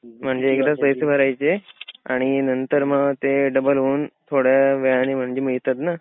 म्हणजे एकदाच पैसे भरायचे आणि नंतर म ते डबल होऊन थोड्या व्याजाने म्हणजे मिळातात ना.